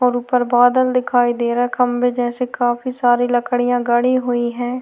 और ऊपर बादल दिखाई दे रहा है खम्बे जैसे काफी सारी लकड़ियां गड़ी हुई है।